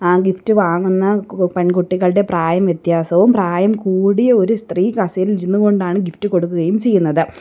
ആ ഗിഫ്റ്റ് വാങ്ങുന്ന കു പെൺകുട്ടികളുടെ പ്രായവ്യത്യാസവും പ്രായം കൂടിയ ഒരു സ്ത്രീ കസേരയിൽ ഇരുന്നുകൊണ്ടാണ് ഗിഫ്റ്റ് കൊടുക്കുകയും ചെയ്യുന്നത്.